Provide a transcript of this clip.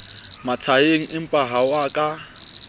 mashaeng empaha ho a ka